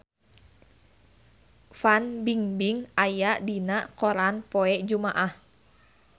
Fan Bingbing aya dina koran poe Jumaah